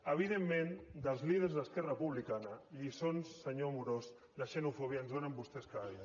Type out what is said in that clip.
evidentment dels líders d’esquerra republicana lliçons senyor amorós de xenofòbia ens en donen vostès cada dia